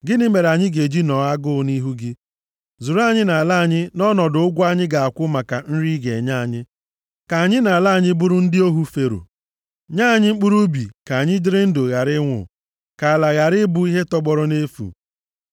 Gịnị mere anyị ga-eji nọọ nʼagụụ nʼihu gị? Zụrụ anyị na ala anyị nʼọnọdụ ụgwọ anyị ga-akwụ maka nri ị ga-enye anyị. Ka anyị na ala anyị bụrụ ndị ohu Fero. Nye anyị mkpụrụ ubi ka anyị dịrị ndụ ghara ịnwụ, ka ala a ghara ịbụ ihe tọgbọrọ nʼefu.”